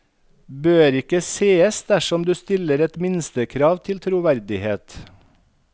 Bør ikke sees dersom du stiller et minstekrav til troverdighet.